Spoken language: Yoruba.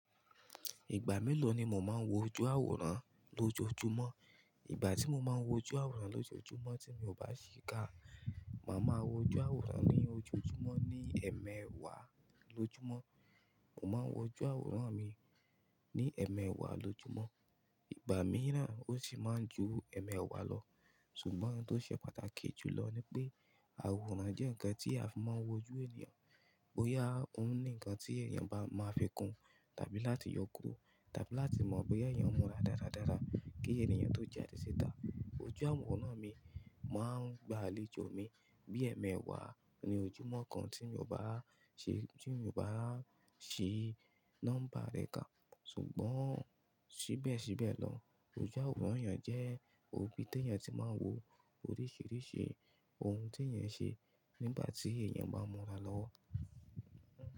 Ìgbà mélòó ni mo máa ń wo ojú àwòrán lójoojúmọ́? Ìgbà tí mo máa ń wo ojú àwòrán lójoojúmọ́ tí mi ò bá ṣìká, màá ma wo ojú àwòrán ní ojoojúmọ́ ní ẹ̀ẹ̀mẹwà lọjúmọ́. Mo máa ń wo ojú àwòrán mi ní ẹ̀ẹ̀mẹwà lọjúmọ́. Ìgbà mìíràn ó sì máa ń ju ẹ̀ẹ̀mẹwà lọ. Ṣùgbọ́n tó ṣe pàtàkì jùlọ ni pé, àwòrán jẹ́ ǹkan tí a fi máa ń wo ojú ènìyàn. Bóyá òun ní ǹkan tí ènìyàn bá máa fi kún tàbí láti yọ kúrò tàbí láti mọ bí ènìyàn múra dáradára kí ènìyàn tó jẹ́ adisítà. Ojú àwòrán mi, màá gbà á léjò mi bí ẹ̀ẹ̀mẹwà ní ojúmọ́ kan tí mi ò bá ṣe, tí mi ò bá ṣe nọ́mbà rẹ̀ ká. Ṣùgbọ́n síbẹ̀síbẹ̀ lọ, ojú àwòrán èyàn jẹ́ òbí tí èyàn tí máa ń wo oríṣìíríṣìí ohun tí èyàn ṣe nígbà tí èyàn bá n múra lọ́wọ́.